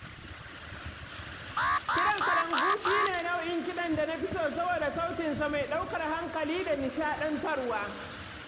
Kiɗan kalangu shi ne nau’in kiɗan da na fi so saboda sautin sa mai ɗaukar hankali da nishaɗantarwa.